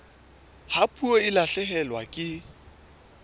ha puo e lahlehelwa ke